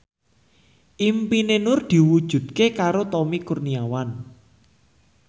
impine Nur diwujudke karo Tommy Kurniawan